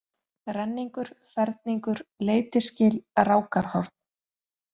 Renningur, Ferningur, Leitisgil, Rákarhorn